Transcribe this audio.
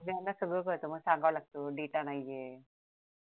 सगळ्यांना सगळ कळतं मग सांगाव लागते data नाहीये